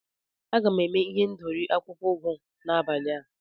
Aga m eme ihendori akwụkwọ ugu n'abali a.